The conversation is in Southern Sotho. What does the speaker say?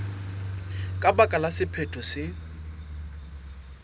ka baka la sephetho se